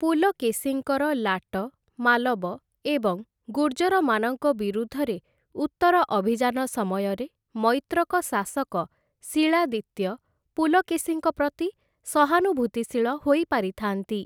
ପୁଲକେଶୀଙ୍କର ଲାଟ, ମାଲବ ଏବଂ ଗୁର୍ଜରମାନଙ୍କ ବିରୁଦ୍ଧରେ ଉତ୍ତର ଅଭିଯାନ ସମୟରେ ମୈତ୍ରକ ଶାସକ ଶିଳାଦିତ୍ୟ ପୁଲକେଶୀଙ୍କ ପ୍ରତି ସହାନୁଭୂତିଶୀଳ ହୋଇପାରିଥାନ୍ତି ।